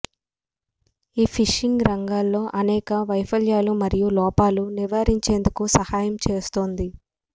ఈ ఫిషింగ్ రంగంలో అనేక వైఫల్యాలు మరియు లోపాలు నివారించేందుకు సహాయం చేస్తుంది